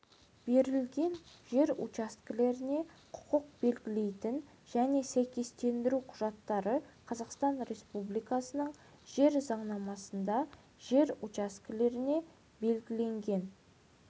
берілген жер учаскелеріне құқық белгілейтін және сәйкестендіру құжаттары қазақстан республикасының жер заңнамасында жер учаскелеріне белгіленген